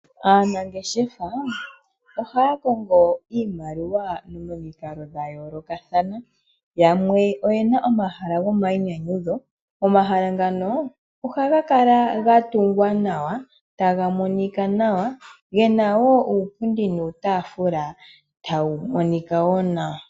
Aanangeshefa ohaya kongo iimaliwa momikalo dha yoolokathana. Yamwe oyena omahala gomainyanyudho, omahala ngano ohaga kala ga tungwa nawa taga monika nawa. Gena wo uupundi nuutafula tawu monika wo nawa.